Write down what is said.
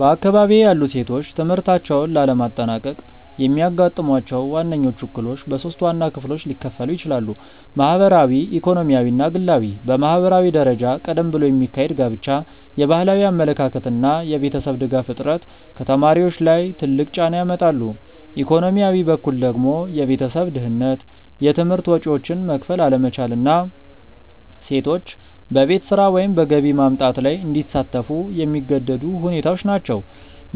በአካባቢዬ ያሉ ሴቶች ትምህርታቸውን ላለማጠናቀቅ የሚያጋጥሟቸው ዋነኞቹ እክሎች በሶስት ዋና ክፍሎች ሊከፈሉ ይችላሉ። ማህበራዊ፣ ኢኮኖሚያዊ እና ግላዊ። በማህበራዊ ደረጃ ቀደም ብሎ የሚካሄድ ጋብቻ፣ የባህላዊ አመለካከት እና የቤተሰብ ድጋፍ እጥረት ከተማሪዎች ላይ ትልቅ ጫና ያመጣሉ፤ ኢኮኖሚያዊ በኩል ደግሞ የቤተሰብ ድህነት፣ የትምህርት ወጪዎችን መክፈል አለመቻል እና ሴቶች በቤት ስራ ወይም በገቢ ማምጣት ላይ እንዲሳተፉ የሚገደዱ ሁኔታዎች ናቸው፤